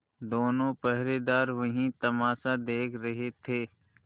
दोनों पहरेदार वही तमाशा देख रहे थे